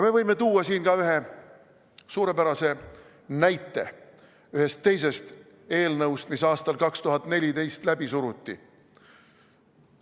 Me võime tuua siin ühe suurepärase näite ühest teisest eelnõust, mis aastal 2014 läbi suruti.